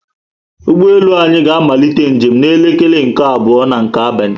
ụgbọelu anyị ga amalite njem na elekere nke abụọ nke abalị